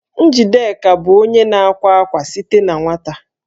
Njideka bụ onye na-akwa akwa site na nwata